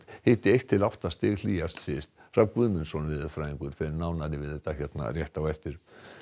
hiti ein til átta stig hlýjast syðst Hrafn Guðmundsson veðurfræðingur fer nánar yfir þetta hér rétt á eftir